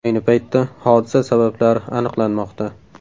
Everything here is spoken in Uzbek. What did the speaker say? Ayni paytda hodisa sabablari aniqlanmoqda.